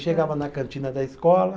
Chegava na cantina da escola.